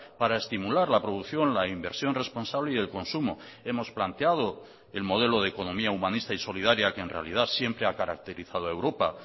para estimular la producción la inversión responsable y el consumo hemos planteado el modelo de economía humanista y solidaria que en realidad siempre a caracterizado a europa